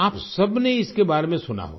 आप सबने इसके बारे में सुना होगा